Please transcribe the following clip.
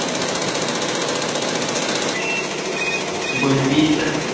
বত্ৰিশটা